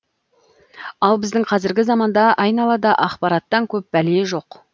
ал біздің қазіргі заманда айналада ақпараттан көп бәле жоқ